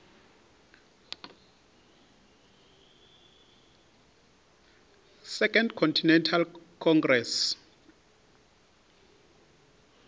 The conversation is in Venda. second continental congress